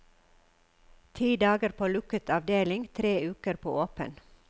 Ti dager på lukket avdeling, tre uker på åpen.